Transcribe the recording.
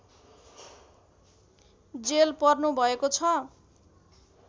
jail पर्नुभएको छ